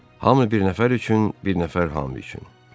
Hamı bir nəfər üçün, bir nəfər hamı üçün.